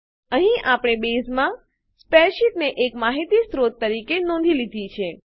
અહીં આપણે બેઝમાં સ્પ્રેડશીટને એક માહિતી સ્ત્રોત તરીકે નોંધી લીધી છે